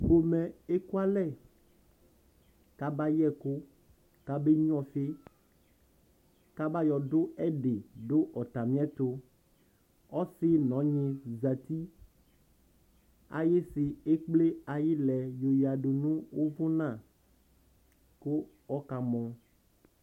Pomɛ eku alɛ kʋ aba yɛ ɛkʋ, kʋ abe nyua ɔfιkʋ aba yɔ dʋ ɛdι dʋ ɔtamι ɛtʋ Ɔsι nʋ ɔnyι zati, ayιsι ekple ayι ιlɛ yɔ yadu nʋʋvʋna, kʋ ɔka mɔ